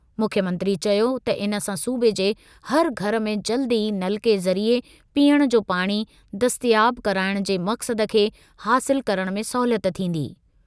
मुख्यमंत्री चयो त इन सां सूबे जे हर घर में जल्द ई नलके ज़रिए पीअण जो पाणी दस्तियाब कराइणु जे मक़्सद खे हासिल करणु में सहूलियत थींदी।